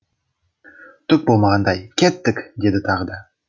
түк болмағандай кеттік деді тағы да